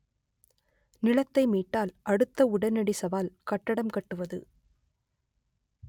நிலத்தை மீட்டால் அடுத்த உடனடி சவால் கட்டடம் கட்டுவது